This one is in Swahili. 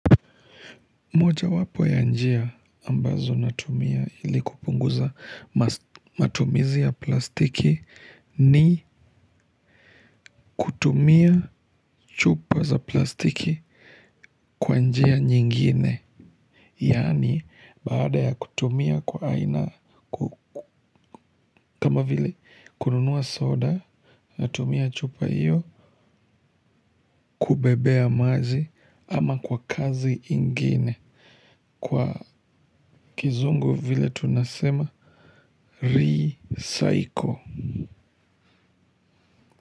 Mojawapo ya njia ambazo natumia ili kupunguza matumizi ya plastiki ni kutumia chupa za plastiki kwa njia nyingine. Yani baada ya kutumia kwa aina kama vile kununuwa soda natumia chupa hiyo kubebea maji ama kwa kazi ingine. Kwa kizungu vile tunasema Re-cycle.